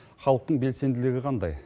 халықтың белсенділігі қандай